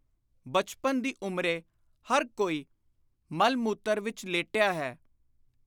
ਬਚਪਨ ਦੀ ਉਮਰੇ ਹਰ ਕੋਈ ਮਲ-ਮੂਤਰ ਵਿਚ ਲੇਟਿਆ ਹੈ।